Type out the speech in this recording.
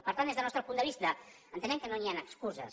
per tant des del nostre punt de vista entenem que no hi han excuses